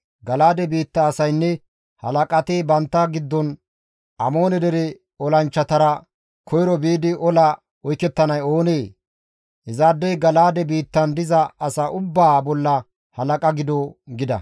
Gala7aade biitta asaynne halaqati bantta giddon, «Amoone dere olanchchatara koyro biidi ola oykettanay oonee? Izaadey Gala7aade biittan diza asa ubbaa bolla halaqa gido» gida.